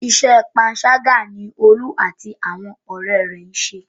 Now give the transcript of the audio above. Iṣẹ́ panṣágà ni Olú àti àwọn ọ̀rẹ́ rẹ̀ ṣe.